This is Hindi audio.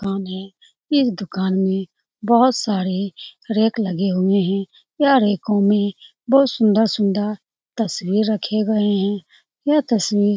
कौन है यह दूकान में बहुत सारे रैक लगे हुए हैं वह रैको में बहुत सुन्दर-सुन्दर तस्वीर रखे गए हैं यह तस्वीर --